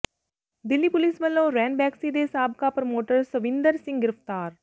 Delhi police ਵੱਲੋਂ ਰੈਨਬੈਕਸੀ ਦੇ ਸਾਬਕਾ ਪ੍ਰਮੋਟਰ ਸ਼ਵਿੰਦਰ ਸਿੰਘ ਗ੍ਰਿਫ਼ਤਾਰ